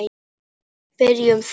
Byrjum þá.